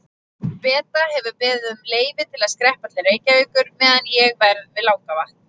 Beta hefur beðið um leyfi til að skreppa til Reykjavíkur meðan ég verð við Langavatn.